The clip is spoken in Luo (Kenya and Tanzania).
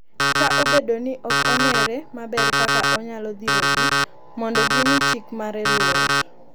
kata obedo ni ok ong’ere maber kaka onyalo dhirogi mondo gimi chik mare luor.